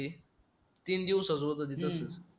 ते तीन दिवसाच होतं ते तसच